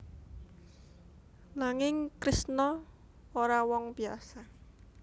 Nanging Kresna ora wong biyasa